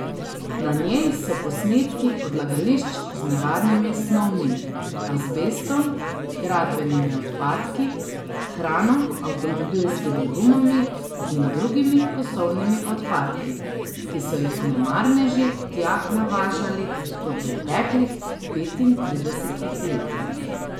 Na njej so posnetki odlagališč z nevarnimi snovmi, azbestom, gradbenimi odpadki, hrano, avtomobilskimi gumami in drugimi kosovnimi odpadki, ki so jih nemarneži tja navažali v preteklih petintridesetih letih.